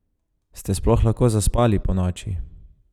Ste sploh lahko zaspali ponoči?